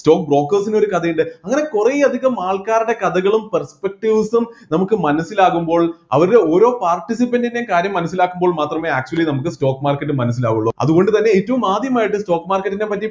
stock brokers ന് ഒരു കഥയുണ്ട് അങ്ങനെ കുറെ അധികം ആൾക്കാരുടെ കഥകളും prespectives ഉം നമുക്ക് മനസ്സിലാകുമ്പോൾ അവരുടെ ഓരോ participant ൻ്റെയും കാര്യം മനസ്സിലാക്കുമ്പോൾ മാത്രമെ actually നമ്മക്ക് stock market മനസ്സിലാവുള്ളൂ അതുകൊണ്ട് തന്നെ ഏറ്റവും ആദ്യമായിട്ട് stock market നെ പറ്റി